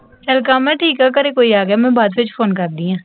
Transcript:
ਚਲ ਕਾਮਾ, ਠੀਕ ਹੈ, ਘਰੇ ਕੋਈ ਆ ਗਿਆ, ਮੈਂ ਬਾਅਦ ਵਿਚ ਫੋਨ ਕਰਦੀ ਹਾਂ